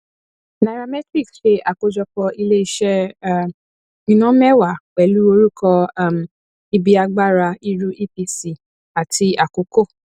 nairametrics ṣe àkójọpọ iléiṣẹ um iná mẹwàá pẹlu orúkọ um ibi agbára iru epc àti akoko